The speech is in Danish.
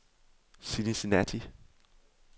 Cincinnati